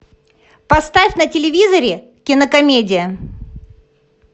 поставь на телевизоре кинокомедия